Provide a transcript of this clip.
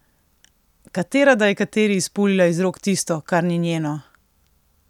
Katera da je kateri izpulila iz rok tisto, kar ni njeno?